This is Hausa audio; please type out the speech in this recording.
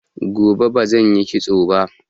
Gobe bazan yi kitsoba